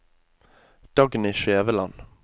Dagny Skjæveland